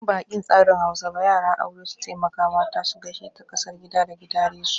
In ba'aƙin tsarin Hausa ba, yara aure su taimaka mata su gaishe ta kasar gida ga gidaresu.